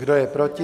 Kdo je proti?